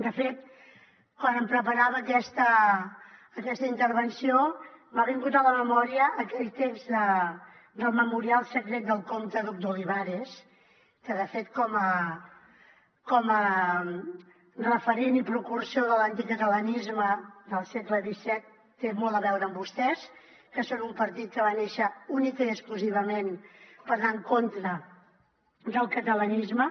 de fet quan em preparava aquesta intervenció m’ha vingut a la memòria aquell text del memorial secret del comte duc d’olivares que de fet com a referent i precursor de l’anticatalanisme del segle xviipartit que va néixer únicament i exclusivament per anar en contra del catalanisme